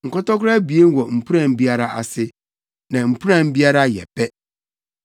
nkɔtɔkoro abien wɔ mpuran biara ase, na mpuran biara yɛ pɛ.